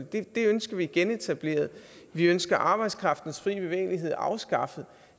den ønsker vi genetableret vi ønsker arbejdskraftens frie bevægelighed afskaffet